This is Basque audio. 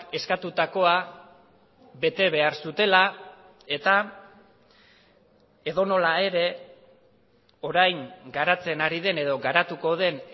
eskatutakoa bete behar zutela eta edonola ere orain garatzen ari den edo garatuko den